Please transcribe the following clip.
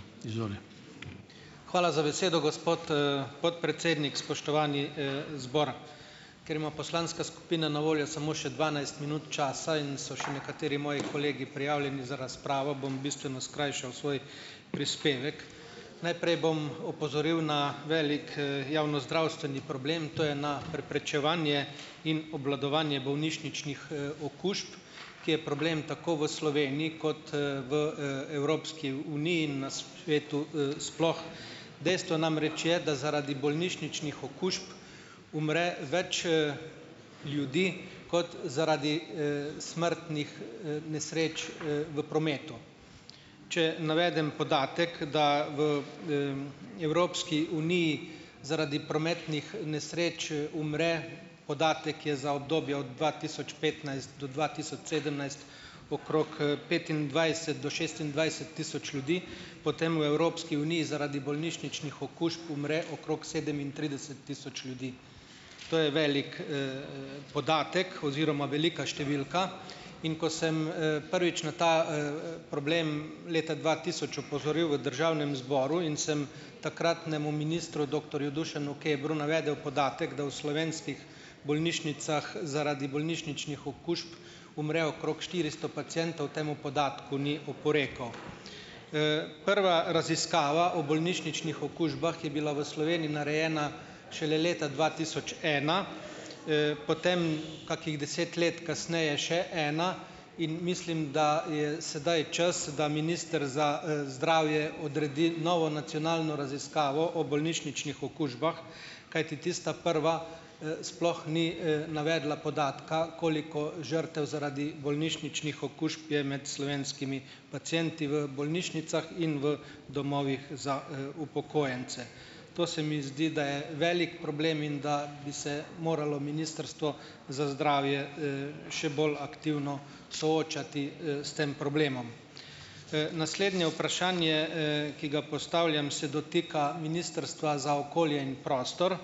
, izvoli. Hvala za besedo, gospod, podpredsednik. Spoštovani, zbor. Ker ima poslanska skupina na voljo samo še dvanajst minut časa in so še nekateri moji kolegi prijavljeni za razpravo, bom bistveno skrajšal svoj prispevek . Najprej bom opozoril na velik, javnozdravstveni problem, to je na preprečevanje in obvladovanje bolnišničnih, okužb, ki je problem tako v Sloveniji kot, Evropski, uniji, na svetu, sploh. Dejstvo namreč je, da zaradi bolnišničnih okužb umre več, ljudi kot zaradi, smrtnih, nesreč, v prometu. Če navedem podatek, da v, Evropski uniji zaradi prometnih nesreč, umre, podatek je za obdobje od dva tisoč petnajst do dva tisoč sedemnajst, okrog, petindvajset do šestindvajset tisoč ljudi. Potem v Evropski uniji zaradi bolnišničnih okužb umre okrog sedemintrideset tisoč ljudi. To je velik, podatek oziroma velika številka, in ko sem, prvič na ta, problem leta dva tisoč opozoril v državnem zboru in sem takratnemu ministru doktorju Dušanu Kebru navedel podatek, da v slovenskih bolnišnicah zaradi bolnišničnih okužb umre okrog štiristo pacientov, temu podatku ni oporekal. prva raziskava o bolnišničnih okužbah je bila v Sloveniji narejena šele leta dva tisoč ena, potem kakih deset let kasneje še ena, in mislim, da je sedaj čas, da minister za, zdravje odredi novo nacionalno raziskavo o bolnišničnih okužbah, kajti tista prva, sploh ni, navedla podatka, koliko žrtev zaradi bolnišničnih okužb je med slovenskimi pacienti v bolnišnicah in v domovih za, upokojence. To se mi zdi, da je velik problem in da bi se moralo Ministrstvo za zdravje, še bolj aktivno soočati, s tem problemom. naslednje vprašanje, ki ga postavljam, se dotika Ministrstva za okolje in prostor.